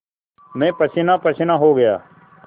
मैं पसीनापसीना हो गया